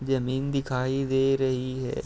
जमीन दिखाई दे रही है।